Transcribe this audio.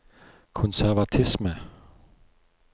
konservatisme